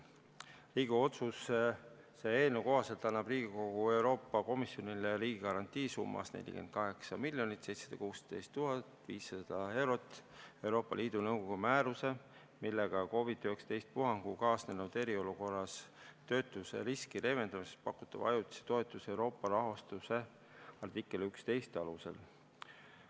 Riigikogu otsuse eelnõu kohaselt annab Riigikogu Euroopa Komisjonile riigigarantii summas 48 716 500 eurot Euroopa Liidu Nõukogu määruse, millega luuakse COVID-19 puhanguga kaasnenud eriolukorras töötuseriski leevendamiseks pakutava ajutise toetuse Euroopa rahastu, artikli 11 alusel.